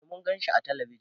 Eh Mun gan shi ã telebijin.